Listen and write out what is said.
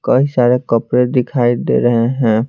कई सारे कपड़े दिखाई दे रहे हैं।